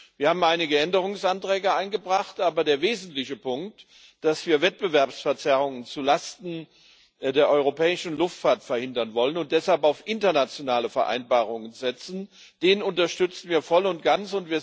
Wir haben einige Änderungsanträge eingebracht, aber den wesentlichen Punkt, dass wir Wettbewerbsverzerrungen zu Lasten der europäischen Luftfahrt verhindern wollen und deshalb auf internationale Vereinbarungen setzen, unterstützen wir voll und ganz.